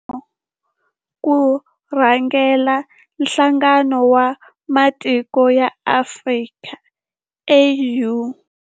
I nxiximo ku rhangela Nhlangano wa Matiko ya Afrika, AU.